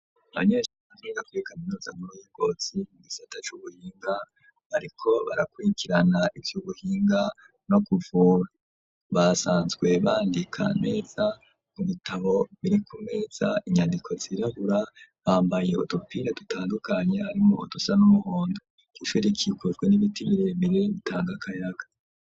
Abanyeshuri biga kuri kaminuza nkuru y'Ingozi gisata cubuhinga ,,bariko barakwikirana icubuhinga no kuvura basanzwe bandika neza ku bitabo biri ku meza inyandiko zirebura bambaye Utupira dutandukanye harimwo dusa n'umuhondo ,ishure rikikujwe n'ibiti biremere bitangakayaga.